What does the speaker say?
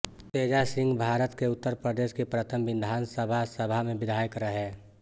तेजा सिंहभारत के उत्तर प्रदेश की प्रथम विधानसभा सभा में विधायक रहे